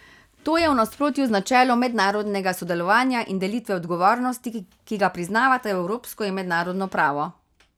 To je v nasprotju z načelom mednarodnega sodelovanja in delitve odgovornosti, ki ga priznavata evropsko in mednarodno pravo.